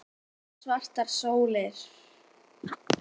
Síðan svartar sólir.